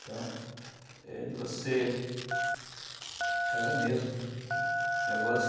Então, é de você... Cara, é mesmo minha voz,